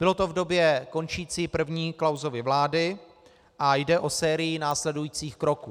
Bylo to v době končící první Klausovy vlády a jde o sérii následujících kroků.